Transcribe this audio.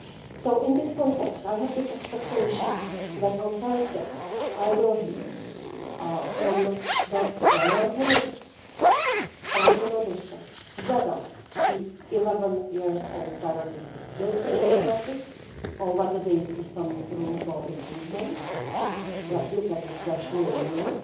So in this context I have big expectations that on Thursday I will hear from the relevant ministers from the Member States whether the 11-year-old directive is still fit for purpose or whether they see some room for improvements. Let's look at it freshly and newly,